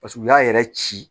Paseke u y'a yɛrɛ ci